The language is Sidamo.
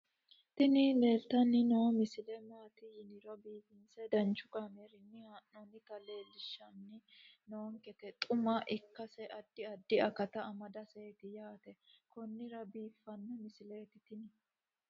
tini leeltanni noo misile maaati yiniro biifinse danchu kaamerinni haa'noonnita leellishshanni nonketi xuma ikkase addi addi akata amadaseeti yaate konnira biiffanno misileeti tini